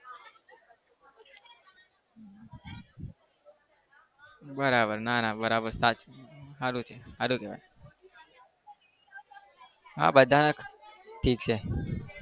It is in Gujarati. બરાબર નાના બરાબર છે. સારું છે સારું કહેવાય. હા બધા ઠીક છે.